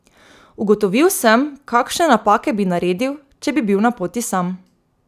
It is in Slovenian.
Ugotovil sem, kakšne napake bi naredil, če bi bil na poti sam.